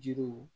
Jiriw